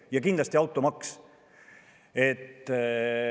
Ja kindlasti automaks.